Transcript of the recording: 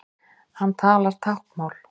Hann talar táknmál.